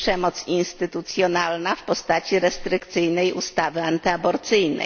przemoc instytucjonalna w postaci restrykcyjnej ustawy antyaborcyjnej.